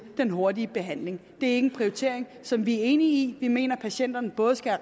den hurtige behandling det en prioritering som vi er enige i vi mener at patienterne både skal